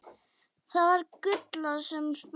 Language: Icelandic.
Það var Gulla sem spurði.